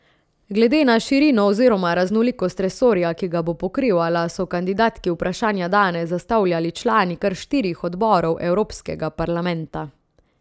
Glede na širino oziroma raznolikost resorja, ki ga bo pokrivala, so kandidatki vprašanja danes zastavljali člani kar štirih odborov Evropskega parlamenta.